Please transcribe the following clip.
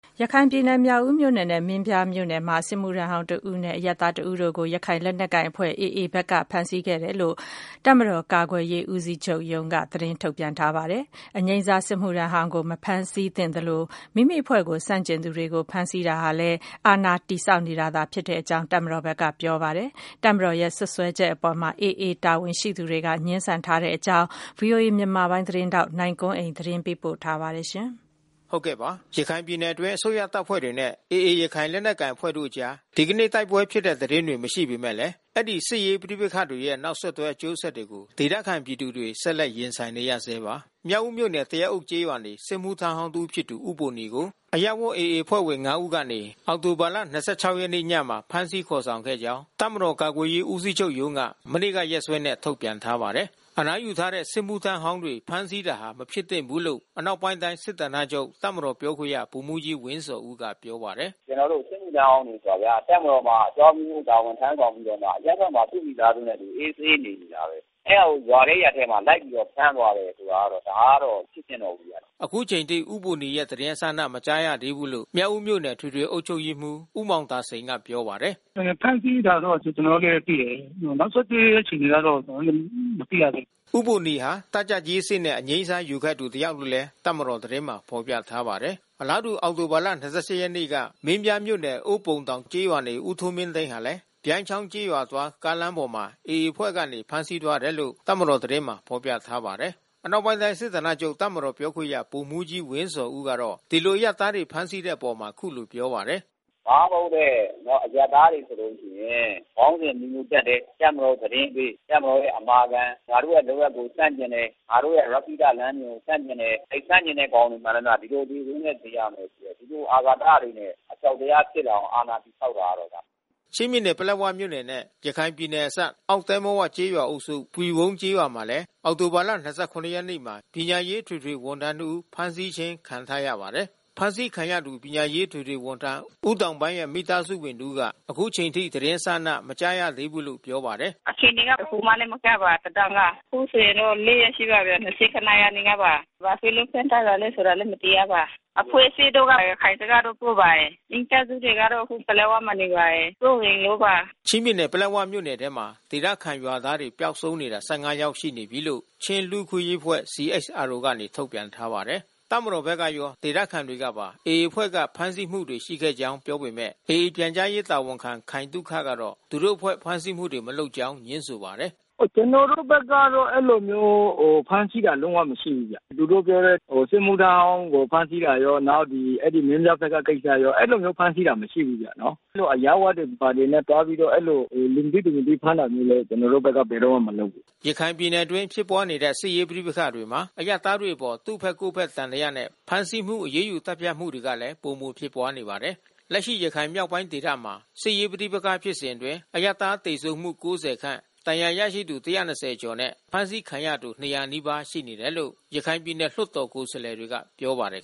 ရခိုင်ပြည်နယ်၊ မြောက်ဦးမြို့နယ်နဲ့ မင်းပြားမြို့နယ်မှာ စစ်မှုထမ်းဟောင်း တဦး အပါဝင် အရပ်သား တဦးကို ရခိုင်လက်နက်ကိုင် AA ဘက်က ဖမ်းဆီးခဲ့တယ်လို့ တပ်မတော် ကာကွယ်ရေးဦးစီးချုပ်ရုံးကနေ သတင်းထုတ်ပြန်ထားပါတယ်။ အနားယူထားတဲ့ စစ်မှုထမ်းဟောင်းကို ဖမ်းဆီးတာမဖြစ်သင့်သလို မိမိအဖွဲ့ကိုဆန့်ကျင်သူတွေကို ဖမ်းဆီးတာဟာ အာဏာ တည်ဆောက်နေတာလို့လည်း တပ်မတော်ဘက်က ဆိုပါတယ်။ တပ်မတော်ရဲ့စွပ်စွဲချက်အပေါ် AA တာဝန်ရှိသူတွေက ငြင်းဆန်ထားပါတယ်။ ဗွီအိုအေမြန်မာပိုင်းသတင်းထောက် နိုင်ကွန်းအိန်ကနေ သတင်းပေးပို့ထားပါတယ်။ ရခိုင်ပြည်နယ်အတွင်း အစိုးရတပ်ဖွဲ့တွေနဲ့ AA ရခိုင်လက်နက်ကိုင်အဖွဲ့တို့အကြား ဒီကနေ့ တိုက်ပွဲဖြစ်တဲ့သတင်း တွေ မရှိပေမယ့်လည်း အဲဒီ စစ်ရေးပဋိပက္ခတွေရဲ့ နောက်ဆက်တွဲ အကျိုးဆက်တွေကို ဒေသခံပြည်သူတွေ ဆက်လက် ရင်ဆိုင်နေကြရဆဲပါ။ မြောက်ဦးမြို့နယ် သရက်အုပ်ကျေးရွာနေ စစ်မှုထမ်းဟောင်း တဦးဖြစ်သူ ဦးဘိုနီကို အရပ်ဝတ် AA အဖွဲ့ဝင် ၅ ဦး ကနေ အောက်တိုဘာ ၂၆ ရက်နေ့ညမှာ ဖမ်းဆီးခေါ်ဆောင်ခဲ့ကြောင်း တပ်မတော်ကာကွယ်ရေးဦးစီးချုပ်ရုံးက မနေ့က ရက်စွဲနဲ့ ထုတ်ပြန်ထားပါတယ်။ အနားယူထားတဲ့ စစ်မှုထမ်းဟောင်းတွေ ဖမ်းဆီးတာဟာ မဖြစ်သင့်ဘူးလို့ အနောက်ပိုင်းတိုင်းစစ်ဌာနချုပ် တပ်မတော်ပြောခွင့်ရ ဗိုလ်မှူးကြီးဝင်းဇော်ဦးက ပြောပါတယ်။။ “ကျနော်တို့ စစ်မှုထမ်းဟောင်းဆိုတာဗျာ တပ်မတော်မှာ အကြောင်းအမျိုးမျိုး တာဝန်ထမ်းဆောင်ပြီးတော့မှ အရပ်ဘက်မှာ သူမိသားစုနဲ့အတူ အေးအေးဆေးဆေးနေနေတာပဲ။ အဲတာကို ရွာထဲရပ်ထဲမှာ ဖမ်းသွားတယ်ဆိုတာက ဒါကတော့ မဖြစ်သင့်တော့ဘူးဗျာ။” အခုချိန်ထိ ဦးဘိုနီရဲ့သတင်းအစအန မကြားသေးဘူးလို့ မြောက်ဦးမြို့နယ် အထွေထွေအုပ်ချုပ်ရေးမှူး ဦးမောင်သာစိန်က ပြောပါတယ်။ “ဖမ်းဆီးတာတော့ ကျနော်တို့လည်းသိတယ်။ နောက်ဆက်တွဲ အခြေအနေကတော့ ကျနော်တို့လည်း မသိရသေးဘူး။” ဦးဘိုနီဟာ တပ်ကြပ်ကြီးအဆင့်နဲ့ အငြိမ်းစားယူခဲ့သူ တယောက်လို့ တပ်မတော်သတင်းမှာ ဖေါ်ပြထားပါတယ်။ အလားတူ အောက်တိုဘာ ၂၈ ရက်နေ့က မင်းပြားမြို့နယ်၊ အိုးပုံတောင်ကျေးရွာနေ ဦးထွန်းမင်းသိန်းဟာလည်း ပြိုင်းချောင်းကျေးရွာသွား ကားလမ်းပေါ်မှာ AA အဖွဲ့က ဖမ်းဆီးသွားတယ်လို့ တပ်မတော်သတင်းမှာ ဖေါ်ပြပါတယ်။ အနောက်ပိုင်းတိုင်းစစ်ဌာနချုပ် တပ်မတော်ပြောခွင့်ရဗိုလ်မှူးကြီးဝင်းဇော်ဦးကတော့ ဒီလိုအရပ်သားတွေ ဖမ်းဆီးတဲ့ လုပ်ရပ်အပေါ် အခုလိုပြောပါတယ်။ “ဘာမှမဟုတ်တဲ့ အရပ်သားတွေဆိုလို့ရှိရင် ခေါင်းစဉ်အမျိုးမျိုး တပ်တယ်။ တပ်မတော်သတင်းပေး တပ်မတော်ရဲ့ အမာခံ ငါတို့ရဲ့လုပ်ရပ်ကို ဆန့်ကျင်တယ်။ ငါတို့ရဲ့ရက္ခိတလမ်းစဉ်ကို ဆန့်ကျင်တယ်။ အဲဒီလိုဆန့်ကျင်တဲ့ကောင်တွေ မှန်သမျှ ဒီလိုအသေဆိုးနဲ့ သေရမယ်။ ဒီလိုအာဃာတတွေနဲ့ အကြောက်တရားဖြစ်လာအောင် အာဏာတည် ဆောက်တာပဲဒါ။" ချင်းပြည်နယ် ပလက်ဝမြို့နယ်နဲ့ ရခိုင်ပြည်နယ်နယ်စပ် အောက်သဲမဝကျေးရွာအုပ်စု ပွီဝုန်းကျေးရွာမှာလည်း အောက်တိုဘာ ၂၇ရက်နေ့မှာ ပညာရေးအထွေထွေ ဝန်ထမ်း တဦး ဖမ်းဆီးခြင်းခံထားရပါတယ်။ အဖမ်းခံရသူ ပညာရေးအထွေထွေဝန်ထမ်း ဦးတောင်ပန်းရဲ့ မိသားစုဝင်တဦးက အခုချိန်ထိသတင်းအစအန မကြားရသေးဘူးလို့ ပြောပါတယ်။ “အခြေအနေက တခုမှလည်း မကြားပါ သတင်းက။ အခုဆိုရင် ၄ ရက်ရှိပါပြီ… ၂၇ နေ့ကပါ။ ဘာဖြစ်လို့ ဖမ်းထားတာလည်းဆိုတာ မသိရပါ။ အဖွဲ့အစည်းတို့က ရခိုင်ဘက်ကလို့ ဆိုပါတယ်။ မိသားစုတွေကတော့ အခုပလက်ဝမှာနေပါတယ်။ စိုးရိမ်လို့ပါ။” ချင်းပြည်နယ် ပလက်ဝမြို့နယ်ထဲမှာ ဒေသခံရွာသားတွေ ပျောက်ဆုံးနေတာ ၁၅ ယောက်ရှိပြီလို့ ချင်းလူ့အခွင့်ရေးအဖွဲ့ CHRO က ထုတ်ပြန်ထားပါတယ်။ တပ်မတော်ဘက်ကရော ဒေသခံတွေကပါ AA အဖွဲ့က ဖမ်းဆီးမှုတွေရှိခဲ့ကြောင်း ပြောပေမဲ့ AA ပြန်ကြားရေးတာဝန်ခံ ခိုင်သုခ ကတော့ သူတို့အဖွဲ့ဖမ်းဆီးမှုတွေ မလုပ်ကြောင်းငြင်းဆိုပါတယ်။ “ကျနော်တို့ဘက်ကတော့ အဲဒီလိုမျိုး ဖမ်းဆီးတာတော့ မရှိဘူးဗျ။ သူတို့ပြောတဲ့ စစ်မှုထမ်းဟောင်းကို ဖမ်းဆီးတာရော နောက်ဒီမင်းပြားဘက်က ကိစ္စရော အဲဒီလိုမျိုး ဖမ်းဆီးတာတော့ မရှိဘူးဗျနော်။ အဲဒီလိုအရပ်ဝတ်တွေနဲ့ ဘာတွေနဲ့သွားပြီး အဲဒီလို လူမသိ၊ သူမသိဖမ်းတာမျိုးလည်း ကျနော်တို့ဘက်က ဘယ်တော့မှ မလုပ်ဘူး။” ရခိုင်ပြည်နယ်အတွင်း ဖြစ်ပွားနေတဲ့ စစ်ရေးပဋိပက္ခမှာ အရပ်သားတွေအပေါ် သူ့ဘက်ကိုယ့်ဘက် သံသယနဲ့ ဖမ်းဆီးမှု အရေးယူသတ်ဖြတ်မှုတွေကလည်း ပိုမိုဖြစ်ပွားနေပါတယ်။ လက်ရှိ ရခိုင်မြောက်ပိုင်းဒေသမှာ စစ်ရေးပဋိပက္ခဖြစ်စဉ်အတွင်း အရပ်သားသေဆုံးမှု ၉၀ ခန့် ဒဏ်ရာရသူ၁၂၀ကျော်နဲ့ အဖမ်းဆီးခံရသူ ၂၀၀ နီးပါး ရှိနေတယ်လို့ ရခိုင်ပြည်နယ်လွှတ်တော် ကိုယ်စားလှယ်တွေက ပြောပါတယ်